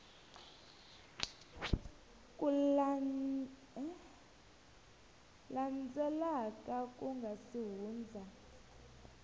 landzelaka ku nga si hundza